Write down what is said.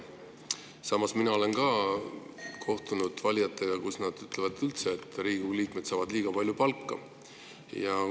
Samas, mina olen ka valijatega kohtunud, nad ütlevad, et Riigikogu liikmed saavad üldse liiga palju palka.